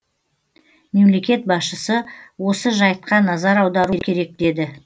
мемлекет басшысы осы жайтқа назар аудару керек деді